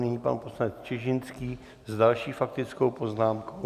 Nyní pan poslanec Čižinský s další faktickou poznámkou.